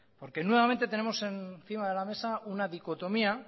porque nuevamente tenemos encima de la mesa una dicotomía